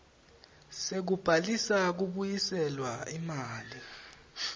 sekubhalisa kubuyiselwa imali